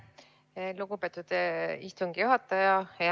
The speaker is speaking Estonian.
Aitäh, lugupeetud istungi juhataja!